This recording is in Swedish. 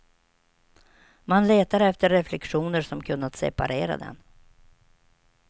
Man letar efter reflexioner som kunnat separera den.